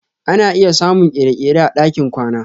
Ana iya samun kere-kere a ɗakin kwana.